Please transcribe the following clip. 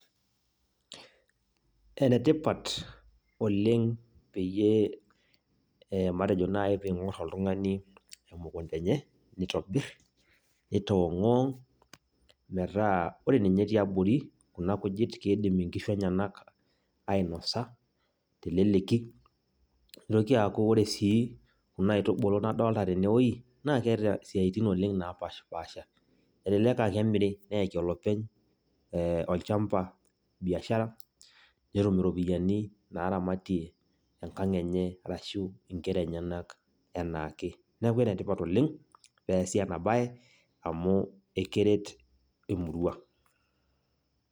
Enetipat oleng peyie matejo nai ping'or oltung'ani emukunda enye, nitobir, nitong'uwong', metaa ore ninye tiabori kuna kujit, kidim inkishu enyanak ainosa, teleleki, nitoki aku ore si kuna aitubulu nadolta tenewoi, naa keeta isiaitin oleng napashipasha. Elelek ah kemiri, neeki olopeny olchamba biashara, netum iropiyiani naramatie enkang' enye arashu inkera enyanak enaake. Neeku enetipat oleng, peesi enabae, amu ekeret emurua.